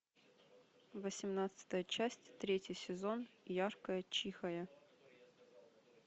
восемнадцатая часть третий сезон яркая чихая